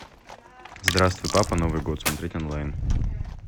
здравствуй папа новый год смотреть онлайн